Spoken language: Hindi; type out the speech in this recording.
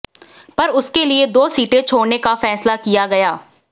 पर उसके लिए दो सीटें छोड़ने का फ़ैसला किया गया